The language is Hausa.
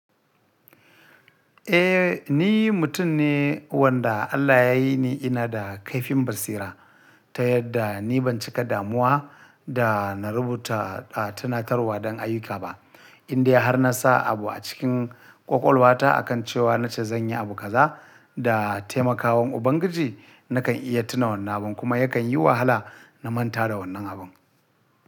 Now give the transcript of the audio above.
Eh ni mutum ne wanda Allah ya yi ni ina da kaifin basira ta yadda ni ban cika damuwa da na rubuta a tunatarwa don ayyuka ba, inda har na sa abu a cikin ƙwaƙwalwata akan cewa na ce zan yi abu kaza da taimakawan Ubangiji na kan iya tuna wannan abun kuma ya kan yi wahala na manta da wannan abun.